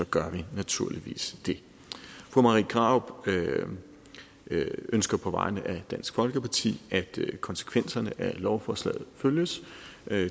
gør vi naturligvis det fru marie krarup ønsker på vegne af dansk folkeparti at konsekvenserne af lovforslaget følges